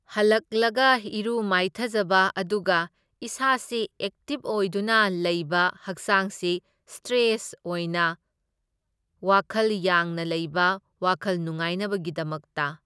ꯍꯜꯂꯛꯂꯒ ꯏꯔꯨ ꯃꯥꯏꯊꯖꯕ, ꯑꯗꯨꯒ ꯏꯁꯥꯁꯤ ꯑꯦꯛꯇꯤꯚ ꯑꯣꯏꯗꯨꯅ ꯂꯩꯕ ꯍꯛꯆꯥꯡꯁꯤ ꯁꯇ꯭ꯔꯦꯁ ꯑꯣꯏꯅ ꯋꯥꯈꯜ ꯌꯥꯡꯅ ꯂꯩꯕ ꯋꯥꯈꯜ ꯅꯨꯡꯉꯥꯏꯅꯕꯒꯤꯗꯃꯛꯇ꯫